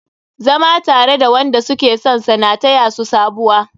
Zama tare da wanda suke sonsa na taya su sabuwa.